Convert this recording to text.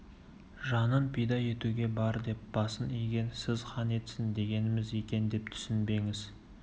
жанын пида етуге бар деп басын иген сіз хан етсін дегеніміз екен деп түсінбеңіз